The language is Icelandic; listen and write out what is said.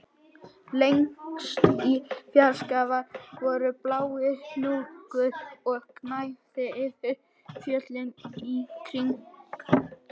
Lengst í fjarska var blár hnúkur og gnæfði yfir fjöllin í kring